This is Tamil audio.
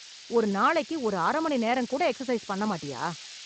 ஒரு நாளைக்கு ஒரு அரை மணி நேரம் கூட எக்சர்சைஸ் பண்ண மாட்டியா?